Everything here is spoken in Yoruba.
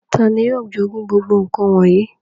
Tàni yio jogun gbogbo nkan wọnyi?